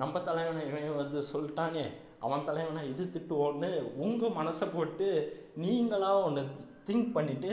நம்ம தலைவனை வந்து சொல்லிட்டானே அவன் தலைவனா இது திட்டுவோம்னு உங்க மனச போட்டு நீங்களா ஒண்ணு think பண்ணிட்டு